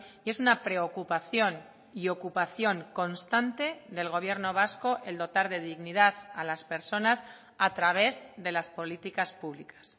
y es una preocupación y ocupación constante del gobierno vasco el dotar de dignidad a las personas a través de las políticas públicas